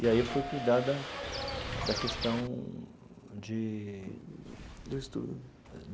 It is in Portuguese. E aí, eu fui cuidar da da questão de... Do estudo.